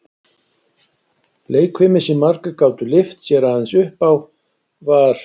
Leikfimi, sem margir gátu lyft sér aðeins upp á, var